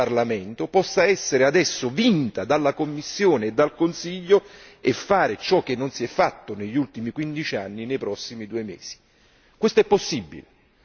con il voto di domani del Parlamento possa essere adesso vinta dalla Commissione e dal Consiglio e fare ciò che non si è fatto negli ultimi quindici anni nei prossimi due mesi.